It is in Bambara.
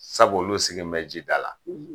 Sabu olu sigi bɛ ji dala.